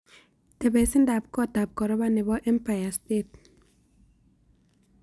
Tebesindap kootap koropa ne po empire state